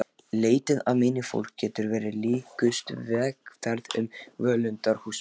Leitin að meini fólks getur verið líkust vegferð um völundarhús.